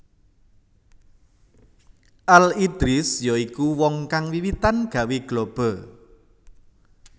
Al Idrisi ya iku wong kang wiwitan gawé globe